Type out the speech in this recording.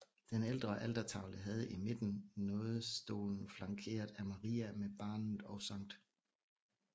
Den ældre altertavle havde i midten nådestolen flankeret af Maria med barnet og Skt